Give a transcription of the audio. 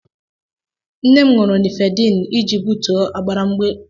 Nne m ṅụrụ Nifedipin iji butuo ọbaramgbalielu ya.